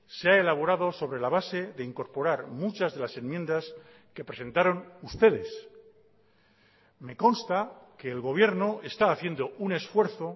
se ha elaborado sobre la base de incorporar muchas de las enmiendas que presentaron ustedes me consta que el gobierno está haciendo un esfuerzo